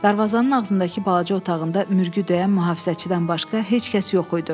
Darvazanın ağzındakı balaca otağında mürgü döyən mühafizəçidən başqa heç kəs yox idi.